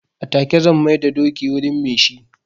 A take zan mai da dokin wurin me shi.